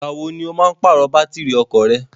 Ìgbàwo ni ó máa ń pàrọ̀ bátìrì ọkọ̀ rẹ?